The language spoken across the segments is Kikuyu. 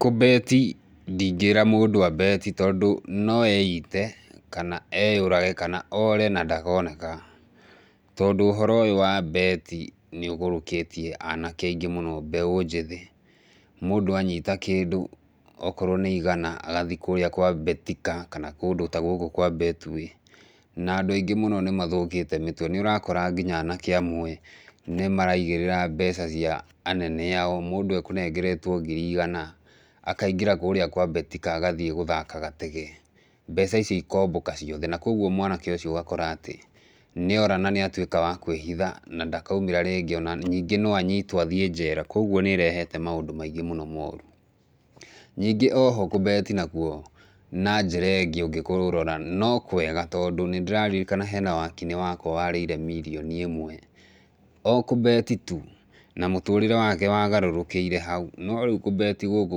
Kũbeti ndingĩra mũndũ abeti tondũ no eite, kana eyũrage, kana ore na ndakoneka. Tondũ ũhoro ũyũ wa mbeti nĩ ũgũrũkĩtie anake aingĩ mũno mbeũ njĩthĩ. Mũndũ anyita kĩndũ okorwo nĩ igana agathiĩ kũrĩa kwa BETIKA kana kũndũ ta gũkũ kwa Betway, na andũ angĩ mũno nĩmathũkĩte mĩtwe, nĩũrakora nginya anake amwe nĩmaraigĩrĩra mbeca cia anene ao, mũndũ ekũnengeretwo ngiri igana, akaingĩra kũrĩa kwa BETIKA agathiĩ gũthaka gatege, mbeca ici ikombũka ciothe na koguo mwanake ũcio ũgakora atĩ, nĩora na nĩatuĩka wa kwĩhitha na ndakaumĩra rĩngĩ, na ningĩ no anyitwo athiĩ njera, koguo nĩ ĩrehete maũndũ maingĩ moru. Ningĩ oho kũbeti nakwo, na njĩra ĩngĩ ũngĩkũrora no kwega nĩndĩraririkana hena wakinĩ wakwa warĩire mirioni ĩmwe, o kũbeti tu, na mũtũrĩre wake wagarũrũkĩire hau, no rĩũ kũbeti gũkũ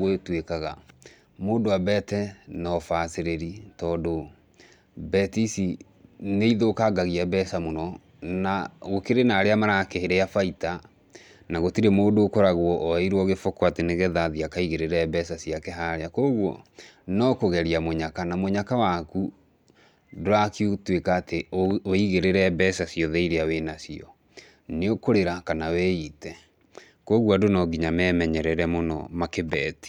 gũtuĩkaga mũndũ abete na ũbacĩrĩri tondũ, beti ici nĩithũkangagia mbeca mũno, na gũkĩrĩ na arĩa marakĩrĩa baita, na gũtirĩ mũndũ ũkoragwo oeirwo gĩboko atĩ nĩgetha athiĩ akaigĩrĩre mbeca ciake haria, koguo no kũgeria mũnyaka na mũnyaka waku, ndũragĩtuĩka atĩ wĩigĩrĩre mbeca ciothe iria wĩnacio, nĩũkũrĩra kana wĩite, koguo andũ no nginya memenyere mũno makĩbeti.